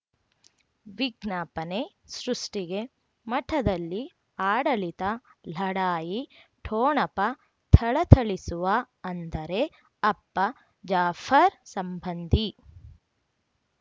ವಿಜ್ಞಾಪನೆ ಸೃಷ್ಟಿಗೆ ಮಠದಲ್ಲಿ ಆಡಳಿತ ಲಢಾಯಿ ಠೋಣಪ ಥಳಥಳಿಸುವ ಅಂದರೆ ಅಪ್ಪ ಜಾಫರ್ ಸಂಬಂಧಿ